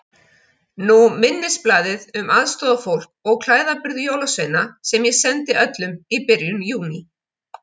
Nú minnisblaðið um aðstoðarfólk og klæðaburð jólasveina sem ég sendi öllum í byrjun Júní.